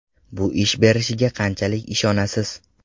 Bu ish berishiga qanchalik ishonasiz?